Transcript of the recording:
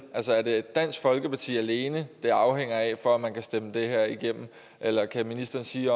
er det dansk folkeparti alene det afhænger af for at man kan stemme det her igennem eller kan ministeren sige